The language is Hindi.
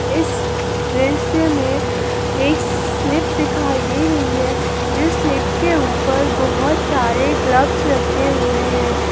इस दृश्य में एक स्लिप दिखाई दे रही है जिस स्लिप के ऊपर बहोत सारे ग्लव्स रखे हुए हैं।